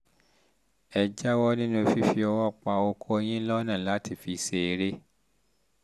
ẹ jáwọ́ nínú um fífi ọwọ́ pa okó yín lọ́nà láti fi ṣeré